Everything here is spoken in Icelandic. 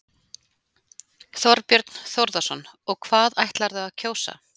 Þorbjörn Þórðarson: Og hvað ætlarðu að kjósa?